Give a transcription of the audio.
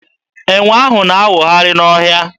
Enwe ahụ na-awụgharị n'ọhịa.